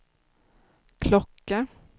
klocka